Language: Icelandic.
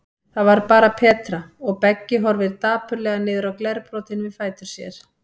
Það var bara Petra, og Beggi horfir dapurlega niður á glerbrotin við fætur sér.